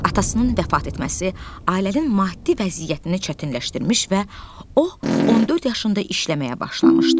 Atasının vəfat etməsi ailənin maddi vəziyyətini çətinləşdirmiş və o 14 yaşında işləməyə başlamışdı.